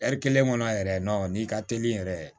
kelen kɔnɔ yɛrɛ n'i ka teli yɛrɛ